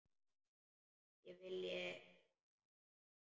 Ég vilji það?